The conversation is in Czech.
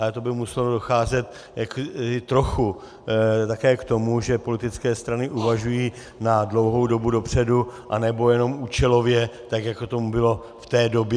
Ale to by muselo docházet trochu také k tomu, že politické strany uvažují na dlouhou dobu dopředu, a ne jen účelově, tak jako tomu bylo v té době.